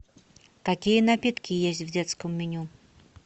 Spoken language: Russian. какие напитки есть в детском меню